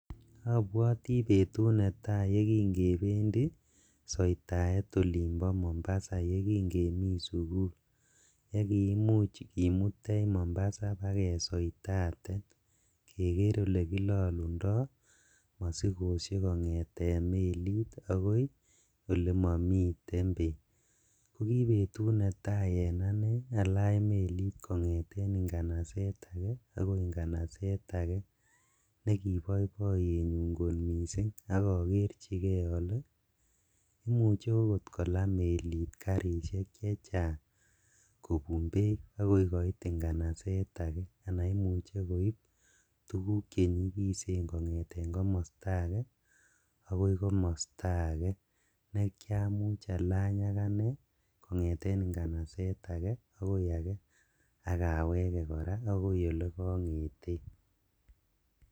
Abwotii betut netaa yeking'ebendi soitaet olimbo Mombasa yeking'emii sukul yekiimuuch kimutech Mombasa ibakesoitaten kekeer elekilolundo mosikoshek kong'eten meliit akoi elemomiten beek, ko kibetut netaa en anee alany meliit kong'eten ng'anaset akee akoi ng'anaset akee nekiboiboyenyun kot mising akokerchikee olee imuche kolaa okot meliit karishek chechang kobun beek akoi koit ng'anaset akee anan imuche koib tukuk chenyikisen kong'eten komosto akee akoi komosto akee nekiamuch alany akanee kong'eten ng'anaset akee akoi akee akawekee kora akoi elekong'eten.